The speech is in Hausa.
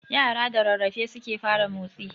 Yara da rarrafe suke fara motsi